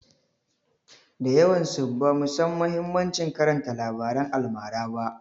Da yawansu bamu san mahimmancin karanta labaran almara ba.